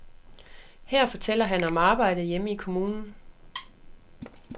Her fortæller han om arbejdet hjemme i kommunen.